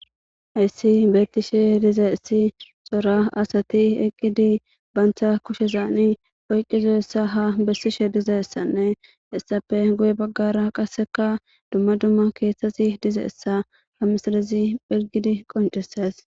hayssi beetishe diza essi xora asati eqqidi bantha kushezaani oyqqizoessa ha bessishe dizaessanne hessape goye baggara qasseka dumma dumma keeththasi dizeessa ha misalizi phelgidi qonceses